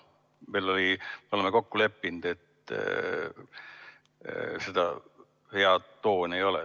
Me oleme kokku leppinud, et see hea toon ei ole.